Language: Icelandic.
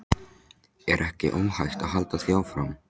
Er ekki óhætt að halda því fram?